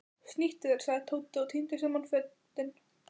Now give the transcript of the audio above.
Snýttu þér sagði Tóti og tíndi saman fötin.